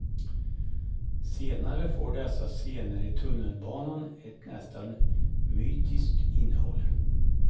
Senare får dessa scener i tunnelbanan ett nästan mytiskt innehåll.